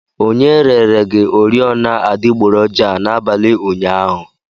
Onye rere gi oriọna adịgboroja a n'abalị ụnyaahụ?